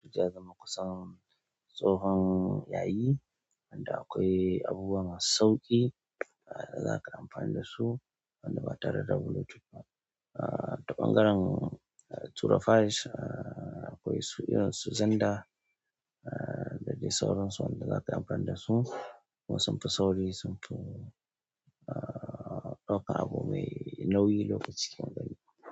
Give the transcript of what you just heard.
Zama kusan tsohon yayi, inda akwai abubuwa masu sauƙi da za ka amfani da su wanda ba tare da Bluetooth ba; Ta ɓangaren tura files akwai su irin su xenda, da dai sauran su wanda za kayi amfani da su. Kuma sumfi sauri, sumfi ɗauka abu mai nauyi lokaci kankani.